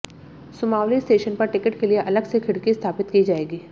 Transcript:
Sumawali station पर ticket के लिए अलग से खिड़की स्थापित की जाएगी